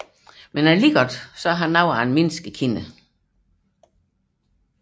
Dog er han noget af en menneskekender